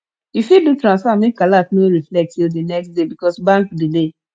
yu fit do transfer make alert no reflect till di next day because bank delay